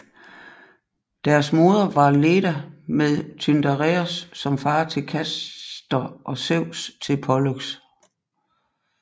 Deres moder var Leda med Tyndareos som fader til Castor og Zeus til Pollux